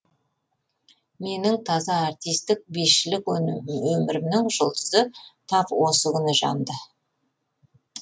менің таза артистік бишілік өмірімнің жұлдызы тап осы күні жанды